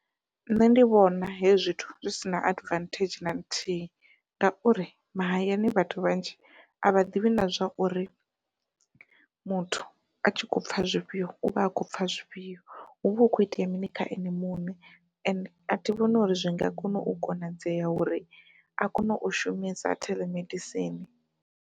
Nṋe ndi vhona hezwi zwithu zwi sina advantage na nthihi, ngauri mahayani vhathu vhanzhi a vha ḓivhi na zwa uri muthu a tshi kho pfha zwifhio uvha a kho pfha zwifhio huvha hu kho itea mini kha ene muṋe ende a thi vhoni uri zwi nga kona u konadzea uri a kone u shumisa theḽemedisini.